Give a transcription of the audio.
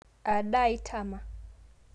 Aadaa itama?